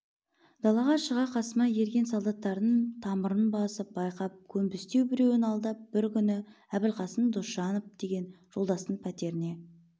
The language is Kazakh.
далаға шыға қасыма ерген солдаттардың тамырын басып байқап көнбістеу біреуін алдап бір күні әбілқасым досымжанов деген жолдастың пәтеріне